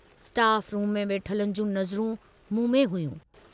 Staff room में वेठलनि जूं नज़रूं मूं में हुयूं।